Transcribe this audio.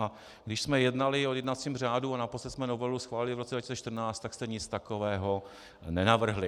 A když jsme jednali o jednacím řádu, a naposledy jsme novelu schválili v roce 2014, tak jste nic takového nenavrhli.